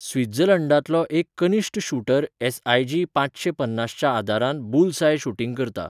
स्वित्झर्लंडांतलो एक कनिश्ट shooter SIG पांचशे पन्नासच्या आदारान बुल्सआय शूटिंग करता.